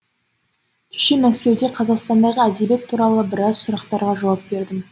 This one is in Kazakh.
кеше мәскеуде қазақстандағы әдебиет туралы біраз сұрақтарға жауап бердім